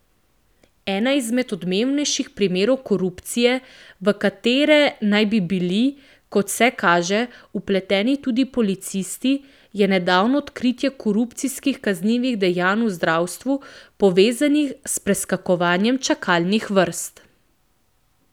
Eden izmed odmevnejših primerov korupcije, v katere naj bi bili, kot vse kaže, vpleteni tudi policisti, je nedavno odkritje korupcijskih kaznivih dejanj v zdravstvu, povezanih s preskakovanjem čakalnih vrst.